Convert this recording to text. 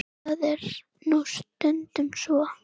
Það er nú stundum svo.